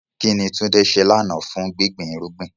Kín ni Tunde ṣe lánàá fún gbígbin irúgbìn?